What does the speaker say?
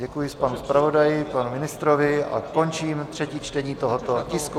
Děkuji panu zpravodaji, panu ministrovi a končím třetí čtení tohoto tisku.